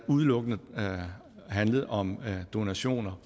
udelukkende handlet om donationer